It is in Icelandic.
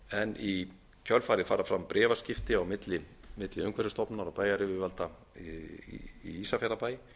en í kjölfarið fara fram bréfaskipti á milli umhverfisstofnunar og bæjaryfirvalda í ísafjarðarbæ